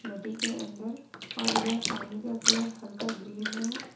नदी के अंदर और यह पानी का कलर हल्का ग्रीन में है।